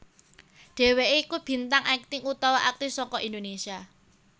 Dheweké iku bintang akting utawa aktris saka Indonésia